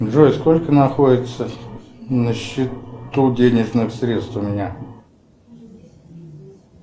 джой сколько находится на счету денежных средств у меня